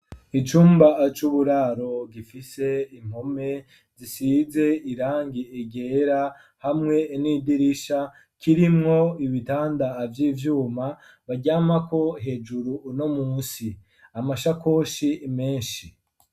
Icumba c'uburaro gifise impome zisize irangi ryera hamwe n'idirisha kirimwo ibitanda vy'ivyuma baryamako hejuru no musi amashakoshi meshi.